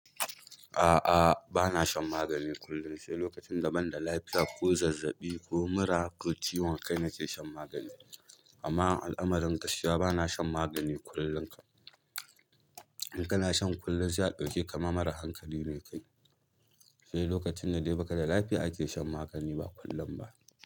A'a, bana shan magani kullum. Sai lokacin da banda lafiya ko zazzaɓi ko mura ko ciwon kai nake shan magani. Amma al'amarin gaskiya bana shan magani kullum. In kana shan kullum sai a ɗauke ka ma mara hankali ne kai. Sai lokacin da dai ba ka da lafiya ake shan magani ba kullum ba.